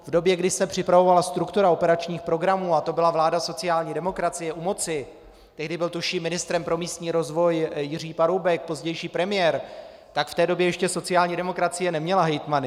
V době, kdy se připravovala struktura operačních programů, a to byla vláda sociální demokracie u moci - tehdy byl tuším ministrem pro místní rozvoj Jiří Paroubek, pozdější premiér -, tak v té době ještě sociální demokracie neměla hejtmany.